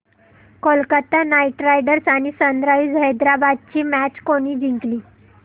Kolkata Knight Riders आणि Sunrisers Hyderabad ही match कोणी जिंकली